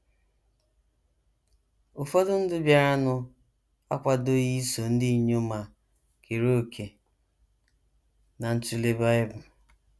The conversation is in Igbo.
Ụfọdụ ndị bịaranụ akwadoghị iso ndị inyom a kere òkè ná ntụle Bible.